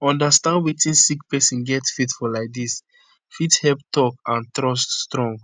understand wetin sick pesin get faith for laidis fit help talk and trust strong